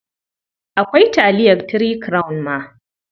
Akwai taliyar Three Crown ma.